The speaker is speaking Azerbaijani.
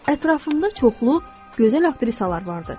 Ətrafında çoxlu gözəl aktrisalar vardı.